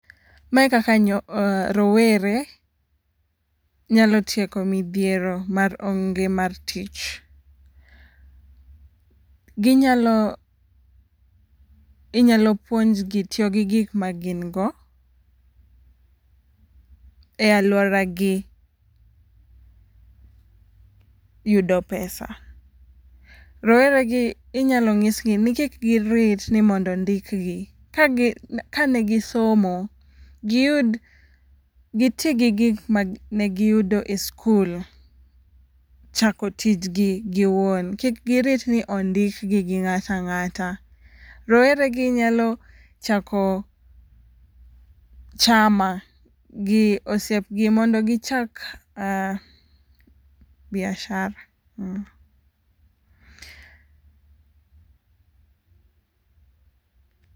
Mae kaka nyo rowere nyalo tieko midhiero mar onge mar tich. Ginyalo inyalo puonjgi tiyo gi gik ma gin go e aluoragi yudo pesa. Rowere gi inyalo nyisgi ni kik girit ni mondo ondik gi ka gi kane gisomo giti gi gik mane giyudo e skul e chako tijni giwuon kik girit ni mondo ondik gi go ng'at ang'ata . Rowere gi nyalo chako chama gi osiepgi mondo gichak biashara